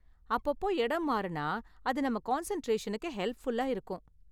அப்பப்போ இடம் மாறுனா அது நம்ம கான்சென்டிரேஷனுக்கு ஹெல்ப்ஃபுல்லா இருக்கும்.